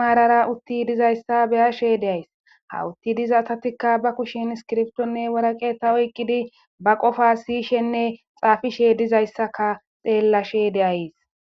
maarara utti dizayssa beyashe deays ha utti diza atatikka ba kushen iskirftonne waraqe ta oyqqidi ba qofa siyishenne xaafishe dizayssaka xeellashe deayes